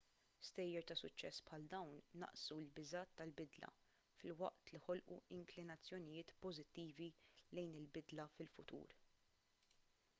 stejjer ta' suċċess bħal dawn naqqsu l-biżgħat tal-bidla filwaqt li ħolqu inklinazzjonijiet pożittivi lejn il-bidla fil-futur